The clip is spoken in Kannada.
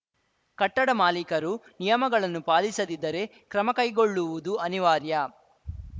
ಕಟ್ಟಡ ಮಾಲೀಕರು ನಿಯಮಗಳನ್ನು ಪಾಲಿಸದಿದ್ದರೆ ಕ್ರಮ ಕೈಗೊಳ್ಳುವುದು ಅನಿವಾರ್ಯ